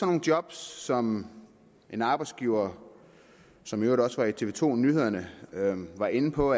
nogle job som en arbejdsgiver som i øvrigt også var i tv to nyhederne var inde på